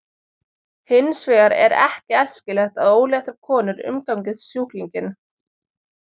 Hins vegar er ekki æskilegt að óléttar konur umgangist sjúklinginn.